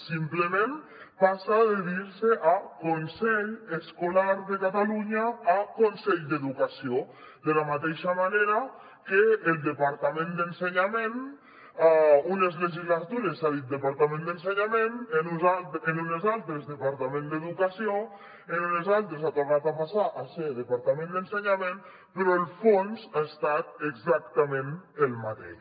simplement passa de dir se consell escolar de catalunya a consell d’educació de la mateixa manera que el departament d’ensenyament en unes legislatures s’ha dit departament d’ensenyament en unes altres departament d’educació en unes altres ha tornat a passar a ser departament d’ensenyament però el fons ha estat exactament el mateix